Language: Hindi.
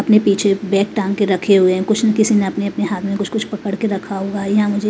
अपने पीछे बैग टांग के रखे हुए हैं कुछ इनके किसी ने अपने अपने हाथ में कुछ कुछ पकड़ के रखा हुआ है यहां मुझे --